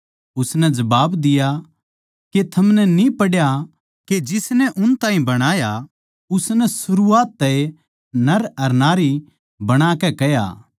उसनै जबाब दिया के थमनै न्ही पढ़या के जिसनै उन ताहीं बणाया उसनै सरूआत तै नर अर नारी बणाकै कह्या